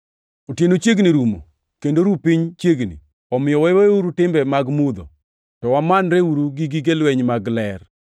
Otieno chiegni rumo kendo ru piny chiegni. Omiyo waweuru timbe mag mudho, to wamanreuru gi gige lweny mag ler.